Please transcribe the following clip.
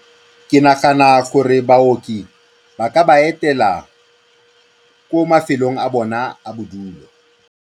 Ke nagana gore baoki ba ka ba etela ko mafelong a bona a bodulo.